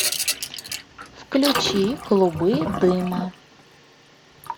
включи клубы дыма